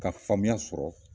Ka faamuya sɔrɔ